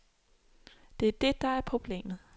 Det er det, der er problemet.